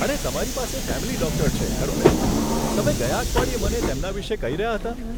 અરે, તમારી પાસે ફેમિલી ડૉક્ટર છે, ખરું ને? તમે ગયા અઠવાડિયે મને તેમના વિશે કહી રહ્યા હતા.